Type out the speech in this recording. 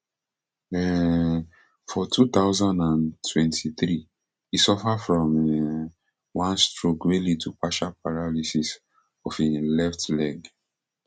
um for two thousand and twenty-three e suffer from um one stroke wey lead to partial paralysis of im left leg